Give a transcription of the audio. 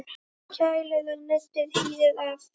Kælið og nuddið hýðið af.